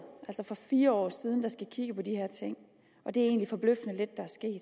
altså for fire år siden der skulle kigge på de her ting og det er egentlig forbløffende lidt